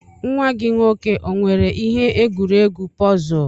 Nwa gi nwoke o nwere ihe egwuregwu pọzul?